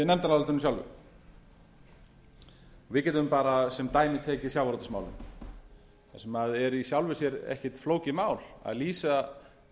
nefndarálitinu sjálfu við getum sem dæmi tekið sjávarútvegsmálin þar sem er í sjálfu sér ekki fólkið mál að lýsa